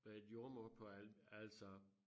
Øh jordemoder på altså